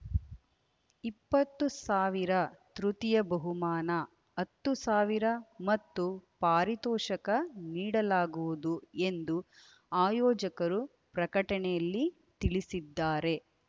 ಇಪ್ಪತ್ತು ಸಾವಿರ ತೃತೀಯ ಬಹುಮಾನ ಹತ್ತು ಸಾವಿರ ಮತ್ತು ಪಾರಿತೋಷಕ ನೀಡಲಾಗುವುದು ಎಂದು ಆಯೋಜಕರು ಪ್ರಕಟಣೆಯಲ್ಲಿ ತಿಳಿಸಿದ್ದಾರೆ